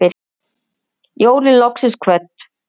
Jólin loksins kvödd